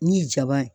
Ni jaba ye